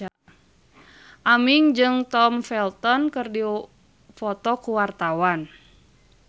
Aming jeung Tom Felton keur dipoto ku wartawan